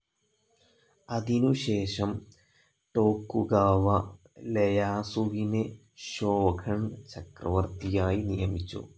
അതിനുശേഷം ടോക്കുഗാവ ലെയാസുവിനെ ഷോഗുൻ ചക്രവർത്തിയായി നിയമിച്ചു.